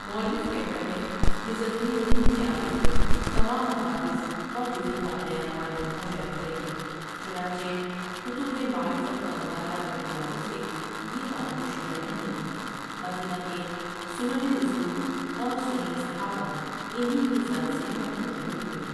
مولف کہتا ہے یہ ضروری نہیں کہ عارف کو تمام حوادث اور جزی واقعات معلوم ہو جایا کریں چنانچہ کتب معرفت کا مطالعہ کرنے والوں سے یہ بات پوشیدہ نہیں مدینہ کے سنن رسول اورسنن صحابہ انہی کی ذات سے محفوظ رہے تھے ۔